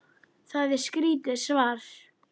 Það er skrítið svar.